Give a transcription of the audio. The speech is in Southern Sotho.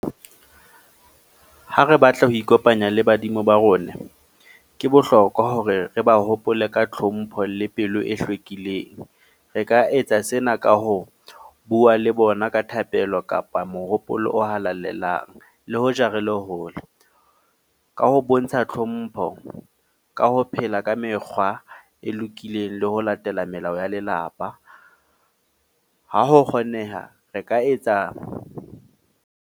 Ha re batla ho ikopanya le badimo ba rona ke bohlokwa hore re ba hopole ka tlhompho le pelo e hlwekileng. Re ka etsa sena ka ho bua le bona ka thapelo kapa mohopolo o halalelang le hoja re le hole, ka ho bontsha tlhompho ka ho phela ka mekgwa e lokileng le ho latela melao ya lelapa. Ha ho kgoneha, re ka etsa.